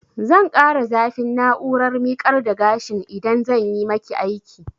Zan ƙara zafin na'urar miƙar da gashin idan zanyi maki aiki